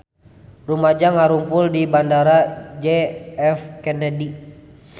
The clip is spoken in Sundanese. Rumaja ngarumpul di Bandara J F Kennedy